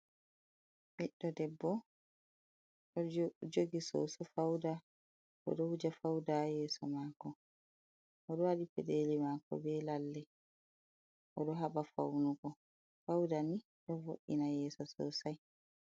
Ɓiɗdo debbo ɗo jogi soso fauda, oɗo wuja fauda haa yeso mako, oɗo waɗi peɗeli maako be lalle, oɗo haɓa faunugo. Fauda ni ɗo vo'ina yeeso sosai.